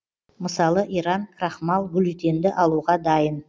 мысалы иран крахмал глютенді алуға дайын